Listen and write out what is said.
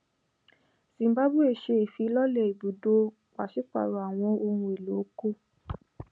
zimbabwe ṣe ifilọlẹ ibudo paṣipaarọ awọn ohun elo oko